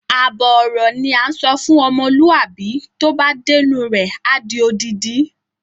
Àbọ̀ ọ̀rọ̀ ni à ń sọ fún ọmọlúàbí tó bá dénú rẹ̀ a di odidi.